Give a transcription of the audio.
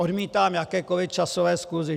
Odmítám jakékoli časové skluzy.